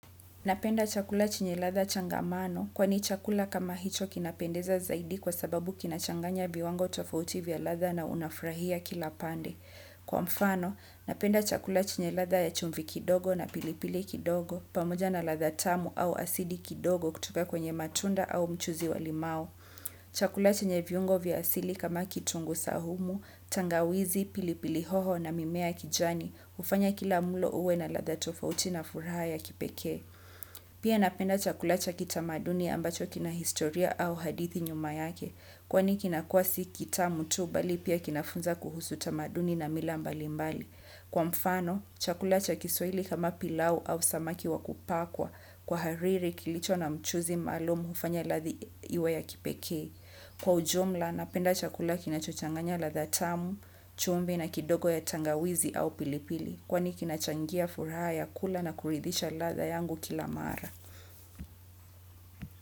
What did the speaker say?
Napenda chakula chenye ladha changamano, kwani chakula kama hicho kinapendeza zaidi kwa sababu kinachanganya viwango tofauti vya ladha na unafurahia kila pande. Kwa mfano, napenda chakula chenye ladha ya chumvi kidogo na pilipili kidogo, pamoja na ladha tamu au asidi kidogo kutoka kwenye matunda au mchuuzi wa limau. Chakula chenye viungo vya asili kama kitungu saumu, tangawizi, pilipili hoho na mimea ya kijani, hufanya kila mlo uwe na ladha tofauti na furaha ya kipeke. Pia napenda chakula cha kitamaduni ambacho kina historia au hadithi nyuma yake. Kwani kinakuwa si kitamu tu bali pia kinafunza kuhusu tamaduni na mila mbali mbali. Kwa mfano, chakula cha kiswaili kama pilau au samaki wa kupakwa. Kwa hariri kilicho na mchuuzi maalum hufanya ladha iwe ya kipekee. Kwa ujumla napenda chakula kinachochanganya ladha tamu, chumvi na kidogo ya tangawizi au pilipili. Kwani kinachangia furaha ya kula na kuridhisha ladha yangu kila mara.